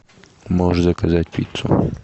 можешь заказать пиццу